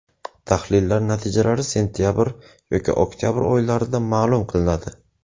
Tahlillar natijasi sentabr yoki oktabr oylarida ma’lum qilinadi.